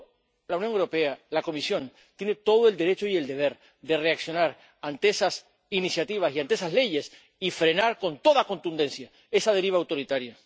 Por eso, la Unión Europea, la Comisión tienen todo el derecho y el deber de reaccionar ante esas iniciativas y ante esas leyes y de frenar con toda contundencia esa deriva autoritaria.